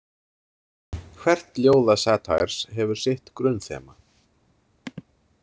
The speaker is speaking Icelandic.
Hvert ljóða Satires hefur sitt grunnþema.